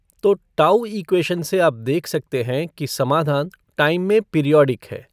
तो tau equation से आप देख सकते हैं कि समाधान टाइम में पीरियॉडिक है।